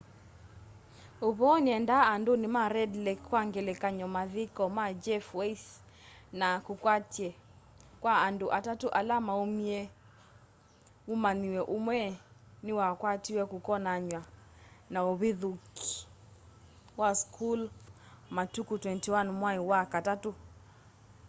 uvoo niendaa anduni ma red lake kwa ngelekany'o mathiko ma jeff weise na kukwatwa kwa andu atatu ala maumie mumanyiwa umwe ni wakwatiwe kukonanywa na uvithukii wa school matuku 21 mwai wa katatu